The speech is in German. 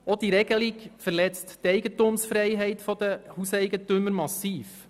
Auch verletzt diese Regelung die Eigentumsfreiheit der Hauseigentümer massiv.